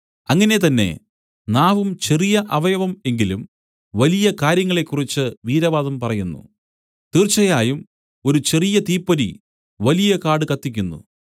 അങ്ങനെ തന്നെ നാവും ചെറിയ അവയവം എങ്കിലും വലിയ കാര്യങ്ങളെക്കുറിച്ച് വീരവാദം പറയുന്നു തീർച്ചയായും ഒരു ചെറിയ തീപ്പൊരി വലിയ കാട് കത്തിക്കുന്നു